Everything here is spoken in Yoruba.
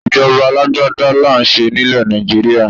Ìjọba alágbádá là ń ṣe nílẹ̀ Nàìjíríà.